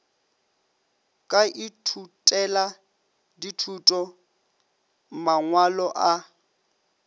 ka ithutela dithuto mangwalo a